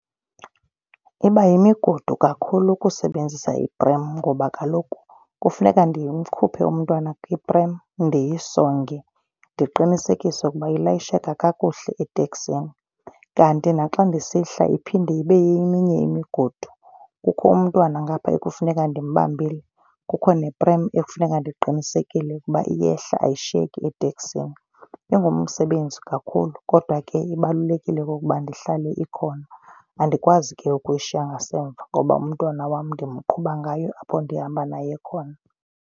Iba yimigudu kakhulu ukusebenzisa i-prem ngoba kaloku kufuneka ndimkhuphe umntwana kwi-prem ndiyisonge, ndiqinisekise ukuba ilayisheka kakuhle etekisini. Kanti naxa ndisihla iphinde ibe yeminye imigudu. Kukho umntwana ngapha ekufuneka ndimbambile, kukho ne-prem ekufuneka ndiqinisekile ukuba iyehla ayishiyeki eteksini. Ingumsebenzi kakhulu kodwa ke ibalulekile okokuba ihlale ikhona. Andikwazi ke ukuyishiya ngasemva ngoba umntwana wam ndimqhuba ngayo apho ndihamba naye khona.